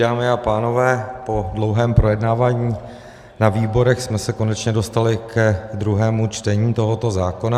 Dámy a pánové, po dlouhém projednávání na výborech jsme se konečně dostali ke druhému čtení tohoto zákona.